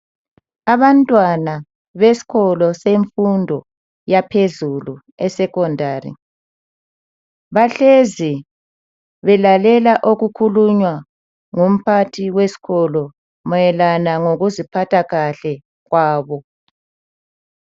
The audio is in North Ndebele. Abantwana beskolo semfundo yaphezulu e secondary bahlezi belalela okukhulunywa ngumphathi weskolo mayelana ngokuziphatha kahle kwabo.